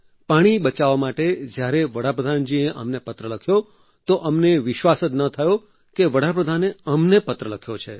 પાણી બચાવવા માટે જ્યારે વડાપ્રધાનજીએ અમને પત્ર લખ્યો તો અમને વિશ્વાસ જ ન થયો કે વડાપ્રધાને અમને પત્ર લખ્યો છે